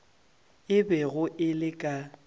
e bego e le ka